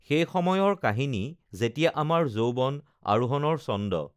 সেই সময়ৰ কাহিনী যেতিয়া আমাৰ যৌৱন আৰোহনৰ চন্দ